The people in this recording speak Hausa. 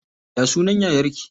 Ya sunan yayar ki?